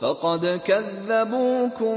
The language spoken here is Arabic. فَقَدْ كَذَّبُوكُم